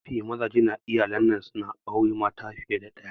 Mafi mazaje a iyalin'nan na aure mata fiye da daya.